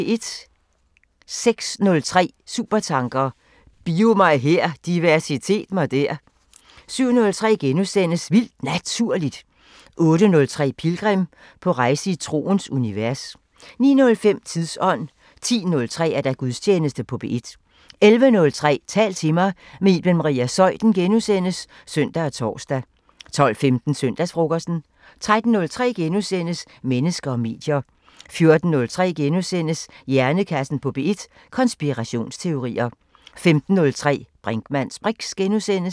06:03: Supertanker: Bio-mig-her, diversitet-mig-der 07:03: Vildt Naturligt * 08:03: Pilgrim – på rejse i troens univers 09:05: Tidsånd 10:03: Gudstjeneste på P1 11:03: Tal til mig – med Iben Maria Zeuthen *(søn og tor) 12:15: Søndagsfrokosten 13:03: Mennesker og medier * 14:03: Hjernekassen på P1: Konspirationsteorier * 15:03: Brinkmanns briks *